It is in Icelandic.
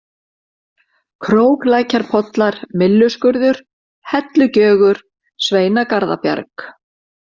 Króklækjarpollar, Mylluskurður, Hellugjögur, Sveinagarðabjarg